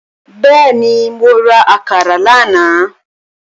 Bẹ́ẹ̀ni, mo ra àkàrà lánàá